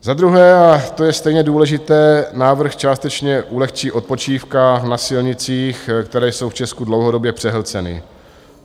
Za druhé, a to je stejně důležité, návrh částečně ulehčí odpočívkám na silnicích, které jsou v Česku dlouhodobě přehlceny.